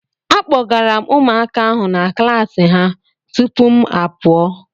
Akpọgara m ụmụaka ahụ na klassi ha tupu mụ apụọ.